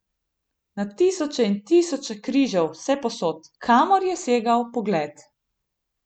Na tisoče in tisoče križev vsepovsod, kamor je segal pogled.